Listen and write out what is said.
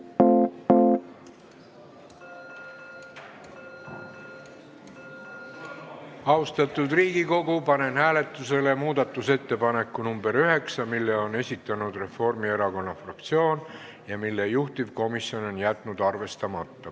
Austatud Riigikogu, panen hääletusele muudatusettepaneku nr 9, mille on esitanud Reformierakonna fraktsioon ja mille juhtivkomisjon on jätnud arvestamata.